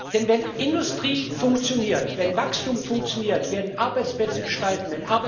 Denn wenn Industrie funktioniert, wenn Wachstum funktioniert, werden Arbeitsplätze geschaffen.